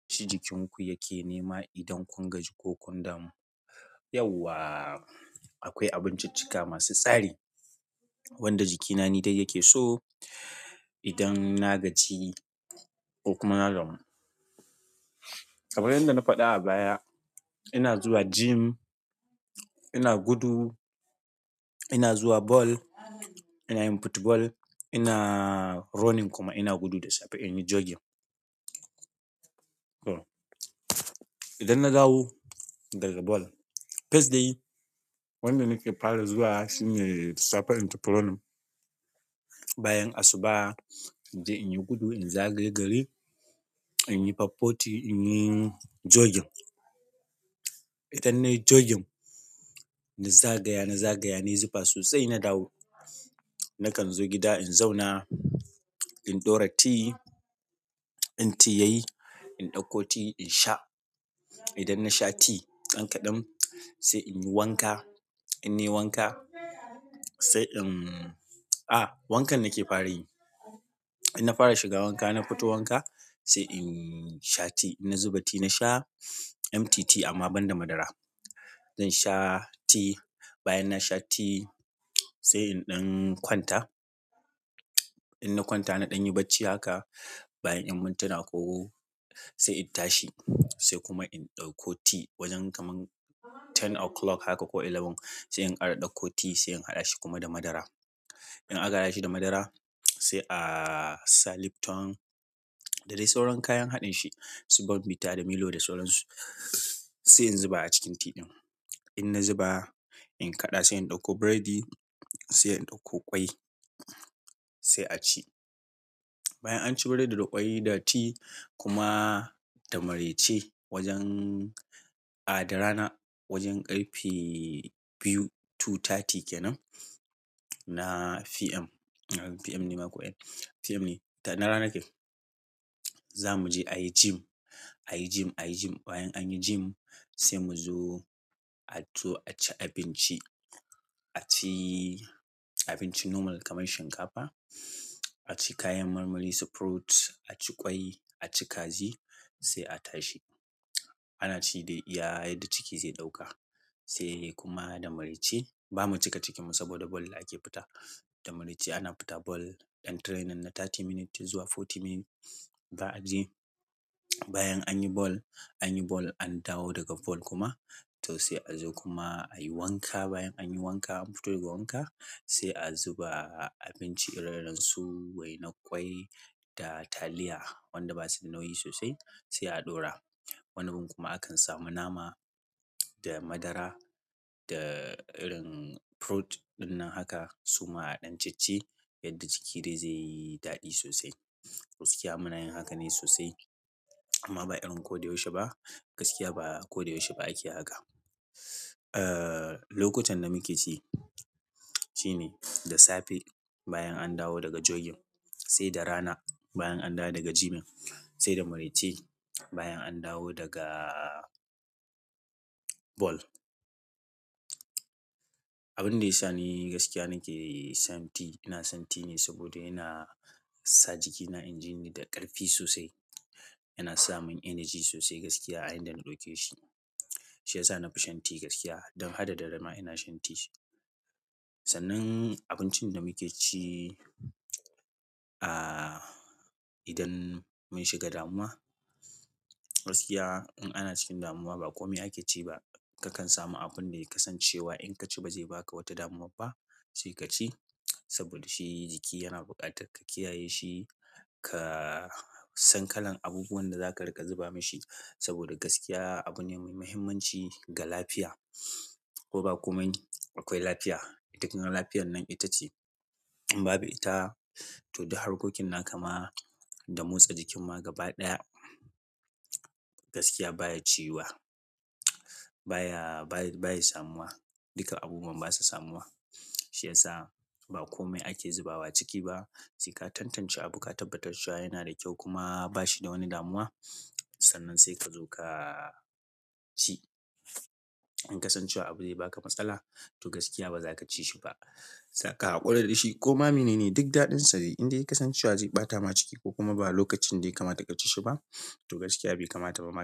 Abinci jikin ku yake nema idan kun gaji ko kun damu. Yawwa akwai abunciccika masu stari wanda jikina nidai yake so idan na gaji ko kuma na damu kamar yadda nafada a baya ina zuwa gym ina gudu ina zuwa ball ina nayin football ina running kuma inagudu dasafe inyi juggin idan na dawo daga ball, first dai wanda nake fara zuwa shine safar into purunum. Bayan asuba, inje in yi gudu, in zagaye gari, in yi faf footi, in yi jogging. Idan nayi jogging, na zagaya na zagaya, na yi zufa sosai na dawo. Nakan zo gida in zauna, in ɗora tea, in tea yayi, in ɗauko tea in sha. Idan na sha tea ɗan kaɗan, sai in yi wanka, in nai wanka sai in. A wankan nake farayi in na fara shiga wanka, na fito wanka sai in sha tea. Na zuba tea na sha empty tea amma ban da madara. Zan sha tea. Bayan na sha tea sai in ɗan kwanta. Inna kwanta nadamyi bacci haka bayan iyan mintuna ko sa in tashi sai kuma in ɗauko tea wajen kamar ten o'clock haka ko eleven sai in ƙara ɗauko tea sai na haɗa shi da madara in aka haɗa shi da madara sai ah asa Lipton da dai sauran kayan haɗin shi su born bita da milo da sauransu sai in zuba a cikin tea ɗin. In na zuba, in kaɗa sai in ɗauko biredi sai in ɗauko ƙwai sai a ci. Bayan anci breadi da ƙwai da tea kuma da maraice wajen ah da rana wajen ƙarfe biyu two thirty kenan na PM PM ne ma kuwa? PM ne. Na ranake za mu je ayi gym, ayi gym, ayi gym. Bayan anyi gym sai mu zo a zo a ci abinci. A ci abinci normal kamar shinkafa, a ci kayan marmari su fruit, a ci ƙwai, a ci kaji sai a tashi. Ana ci da iya yadda ciki zai ɗauka sai kuma da maraice ba mu cika cikinku saboda ball ake fita. Da maraice ana fita ball ɗan training na thirty minutes zuwa forty minutes za a je. Bayan anyi ball, anyi ball an dawo daga ball kuma to sai a zo kuma a yi wanka. Bayan anyi wanka an fito daga wanka sai a zuba abinci irin su waina ƙwai da taliya wanda ba su da nauyi sosai sai a ɗora. Wani zubin kuma akan samu nama da madara da irin fruit dinan haka suma adan cicci yadda jiki dai zai daɗi dai sosai gaskiya muna yin haka ne sosai amma ba irin koda yau she ba. Gaskiya ba kode yau she ba ake haka. Eh, lokutan da muke ci shine da safe bayan an dawo daga jogging, sai da rana bayan an dawo daga gyming, sai da maraice bayan an dawo daga ball. Abun da ya sa ni gaskiya nake shan tea, ina shan tea ne saboda yana sa jikina in ji ni da ƙarfi sosai. Yana sa mun energy sosai gaskiya a yanda ɗauke shi. Shi ya sa nafison tea gaskiya. Don ha da dare ma ina shan tea. Sannan abincin da muke ci, ah idan mun shiga damuwa gaskiya in ana cikin damuwa ba kome ake ci ba. Kakan samu abun da ya kasance wa in ka ci ba zai baka wata damuwa ba sai ka ci saboda shi jiki yana buƙatar ka kiyaye shi, ka san kalan abubuwan da zaka riƙa zuba mashi saboda gaskiya abu ne mai muhimmanci ga lafiya. Ko ba komai akwai lafiya. Ita kuma lafiyan nan itace in babu ita, to duk harkokin na kama da motsa jikin magaɓa ɗaya. Gaskiya baya ciyuwa baya baya samu wa duka abubuwan basa samuwa. Shi ya sa ba kome ake zubawa ciki ba. Sai ka tantance abu ka tabbatar cewa yana da kyau kuma ba shi da wani damuwa sannan sai ka zo ka ci. In ka san cewa abu zai baka matsala to gaskiya ba za ka ci shi ba. Zaka haƙura da shi. Koma mene ne duk daɗinsa dai indai ka san cewa zai ɓata ma ciki ko kuma ba lokacin dai kama ta ka ci shi ba to gaskiya bai kamata ba ma.